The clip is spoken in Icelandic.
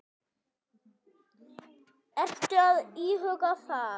Ertu að íhuga það?